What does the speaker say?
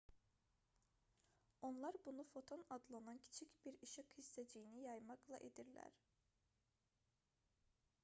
onlar bunu foton adlanan kiçik bir işıq hissəciyini yaymaqla edirlər